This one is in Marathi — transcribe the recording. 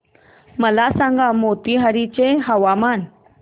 मला सांगा मोतीहारी चे हवामान